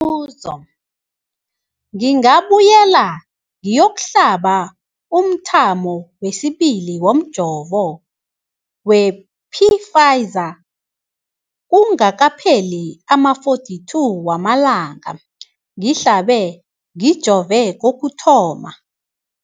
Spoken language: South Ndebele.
buzo, ngingabuyela ngiyokuhlaba umthamo wesibili womjovo we-Pfizer kungakapheli ama-42 wamalanga ngihlabe, ngijove kokuthoma.